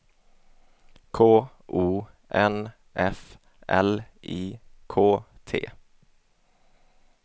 K O N F L I K T